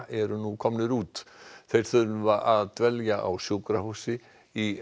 eru nú komnir út þeir þurfa að dvelja á sjúkrahúsi í